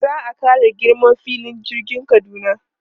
Za a ƙara girman filin jirgin Kaduna.